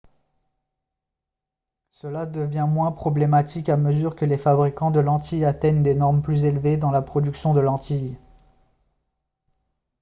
cela devient moins problématique à mesure que les fabricants de lentilles atteignent des normes plus élevées dans la production de lentilles